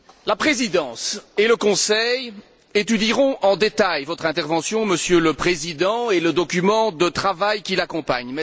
La Présidence et le Conseil étudieront en détail votre intervention, Monsieur le Président, et le document de travail qui l'accompagne.